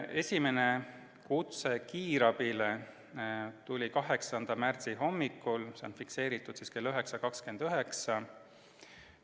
Esimene kutse tuli kiirabile 8. märtsi hommikul, see on fikseeritud kell 9.29.